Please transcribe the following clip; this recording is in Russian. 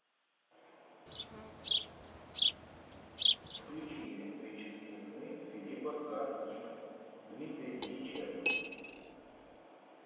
включи электрические сны филипа к дика дмитрия дьяченко